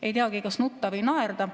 Ei teagi, kas nutta või naerda.